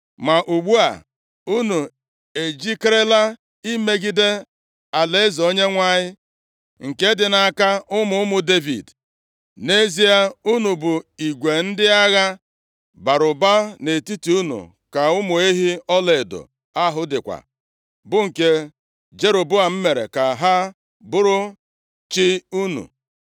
“Ma ugbu a, unu ejikerela imegide alaeze Onyenwe anyị nke dị nʼaka ụmụ ụmụ Devid. Nʼezie, unu bu igwe ndị agha bara ụba, nʼetiti unu ka ụmụ ehi ọlaedo ahụ dịkwa, bụ nke Jeroboam mere ka ha buru chi unu.